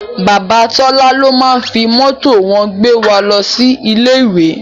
Bàbá Tọ́lá ló máá ń fi mọ́tò wọn gbé wa lọ sí ilé ìwé